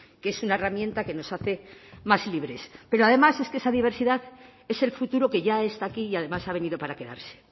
que es una herramienta que nos hace más libres pero además es que esa diversidad es el futuro que ya está aquí y además ha venido para quedarse